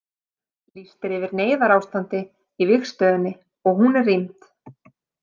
Lýst er yfir neyðarástandi í vígstöðinni og hún er rýmd.